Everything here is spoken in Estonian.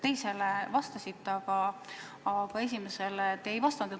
Teisele te vastasite, aga esimesele mitte.